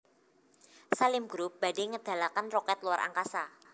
Salim Group badhe ngedalaken roket luar angkasa